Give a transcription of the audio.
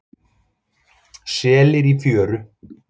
Selir í fjöru.